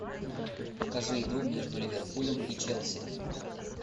покажи игру между ливерпулем и челси